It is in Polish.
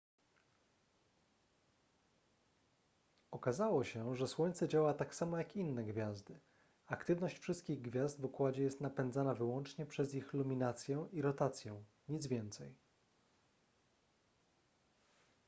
okazało się że słońce działa tak samo jak inne gwiazdy aktywność wszystkich gwiazd w układzie jest napędzana wyłącznie przez ich luminację i rotację nic więcej